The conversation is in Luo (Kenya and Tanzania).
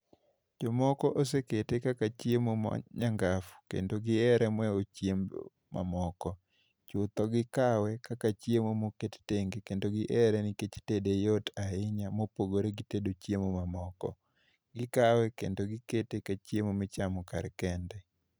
Jomoko osekete kaka chiemo ma nyangafu, kendo gihere moheo chiemo mamoko. Chutho gikawe kaka chiemo moket tenge, kendo gihere nikech tede yot ahinya, mopogore gi tedo chiemo mamoko. Gikawe kendo gikete kaka chiemo michamo kar kende.